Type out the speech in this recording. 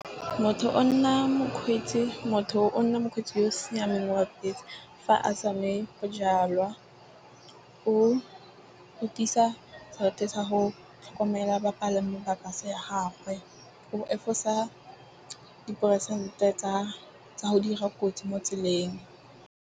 Motho o nna mokgweetsi. Motho o nna mokgweetsi yo o siameng wa bese fa a sa nwe bojalwa. O tiisa sa go tlhokomela bapalami ba bus ya gagwe. O diperesente tsa go dira kotsi mo tseleng.